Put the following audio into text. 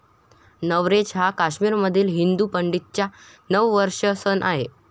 नवरेच हा काश्मीरमधील हिंदू पंडितांचा नववर्ष सण आहे.